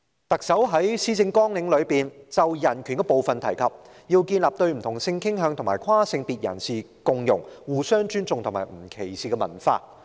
特首在施政綱領中有關人權的部分提及，要建立對不同性傾向及跨性別人士共融、互相尊重和不歧視的文化。